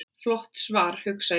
Flott svar, hugsa ég.